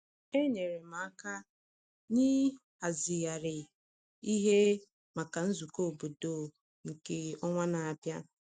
Enyere m aka n’ịhazigharị ihe maka nzukọ obodo um nke um ọnwa na-abịa.